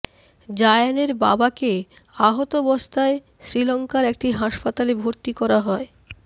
জায়ানের বাবাকে আহতাবস্থায় শ্রীলঙ্কার একটি হাসপাতালে ভর্তি করা হয়